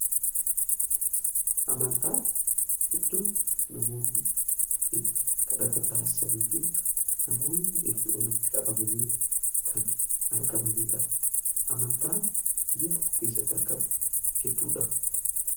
Amantaan iddoo namoonni itti kadhata taasisanii fi namoonni itti walitti qabamanii kan argamaniidha. Amantaan biyya tokko keessatti argamu hedduudha.